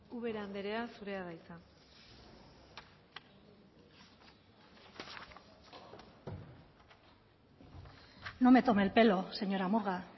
ubera andrea zurea da hitza no me tome el pelo señora murga